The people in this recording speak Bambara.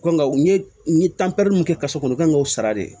Kan ka u ye n ye mun kɛ ka so kɔnɔ kan k'o sara de